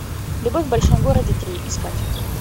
любовь в большом городе три искать